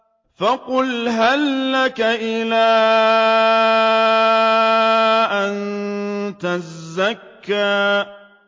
فَقُلْ هَل لَّكَ إِلَىٰ أَن تَزَكَّىٰ